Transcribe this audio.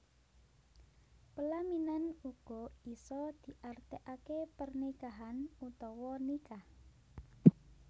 Pelaminan uga isa diartiake pernikahan utawa nikah